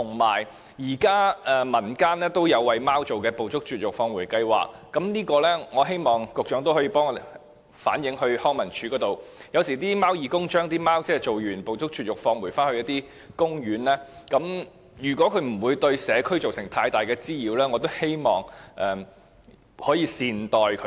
現時民間也有為貓而設的"捕捉、絕育、放回"計劃，我希望局長可以替我們向康樂及文化事務署反映，有時候貓義工為貓隻進行絕育後，會把牠們放回公園，如果牠們不是對社區造成太大滋擾的話，我希望大家可以善待牠們。